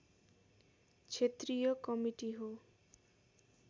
क्षेत्रीय कमिटी हो